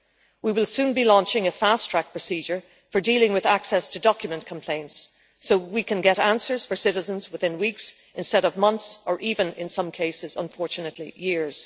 We will soon be launching a fast track procedure for dealing with access to document complaints so that we can get answers for citizens within weeks instead of months or even, in some cases unfortunately, years.